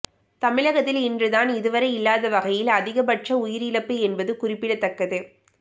தமிழகத்தில் இன்றுதான் இதுவரை இல்லாத வகையில் அதிகபட்ச உயிரிழப்பு என்பது குறிப்பிடத்தக்கது